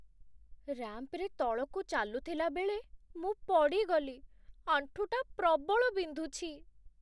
ରାମ୍ପ୍‌ରେ ତଳକୁ ଚାଲୁଥିଲାବେଳେ, ମୁଁ ପଡ଼ିଗଲି । ଆଣ୍ଠୁଟା ପ୍ରବଳ ବିନ୍ଧୁଛି ।